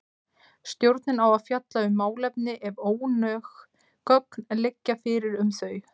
Stjórnin á að fjalla um málefni ef ónóg gögn liggja fyrir um þau.